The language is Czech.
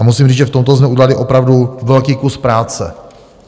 A musím říct, že v tomto jsme udělali opravdu velký kus práce.